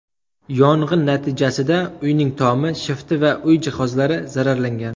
Yong‘in natijasida uyning tomi, shifti va uy jihozlari zararlangan.